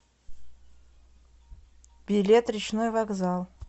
билет речной вокзал